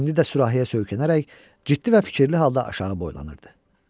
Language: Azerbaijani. İndi də sürahəyə söykənərək ciddi və fikirli halda aşağı boylanırdı.